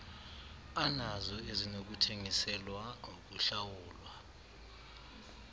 anazo ezinokuthengiselwa ukuhlawulwa